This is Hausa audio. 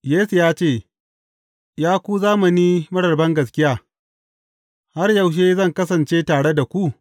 Yesu ya ce, Ya ku zamani marar bangaskiya, har yaushe zan kasance tare da ku?